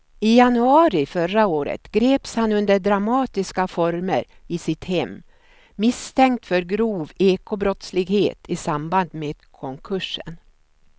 I januari förra året greps han under dramatiska former i sitt hem misstänkt för grov ekobrottslighet i samband med konkursen.